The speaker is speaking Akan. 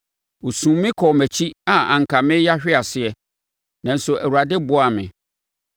Wɔsum me kɔɔ mʼakyi a anka mereyɛ ahwe ase, nanso Awurade boaa me.